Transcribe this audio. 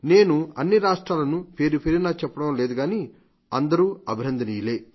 నేను అన్ని రాష్ట్రాలను పేరుపేరునా చెప్పడం లేదు గానీ అందరూ అభినందనీయులే